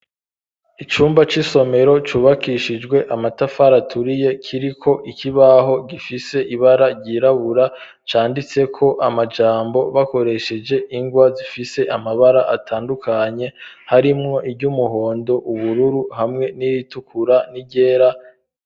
Icumba cy'isomero cubakishijwe amatafari aturiye, kiriko ikibaho gifise ibara ryirabura. Canditseko amajambo bakoresheje ingwa zifise amabara atandukanye, harimwo iry'umuhondo, ubururu, hamwe n'iritukura n'iryera.